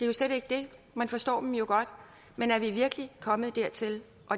jo slet ikke det man forstår dem jo godt men er vi virkelig kommet dertil